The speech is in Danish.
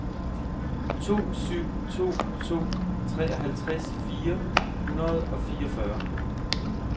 to syv to to treoghalvtreds fire hundrede og fireogfyrre